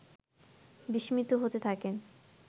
বিস্মিত হতে থাকেন